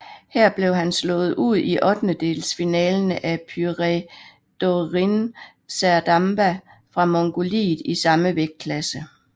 Her blev han slået ud i ottendelsfinalen af Pürevdorjiin Serdamba fra Mongoliet i samme vægtklasse